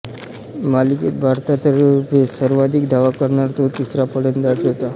मालिकेत भारतातर्फे सर्वाधिक धावा करणारा तो तिसरा फलंदाज होता